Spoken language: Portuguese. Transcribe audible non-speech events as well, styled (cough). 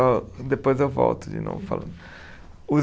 (unintelligible) depois eu volto de novo falando. Os